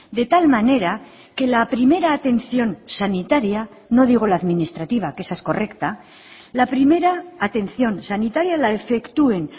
de tal manera que la primera atención sanitaria no digo la administrativa que esa es correcta la primera atención sanitaria la efectúen